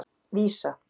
Vísa